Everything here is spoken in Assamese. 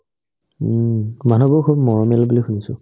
উম্, মানুহবোৰ খুব মৰমীয়াল বুলি শুনিছো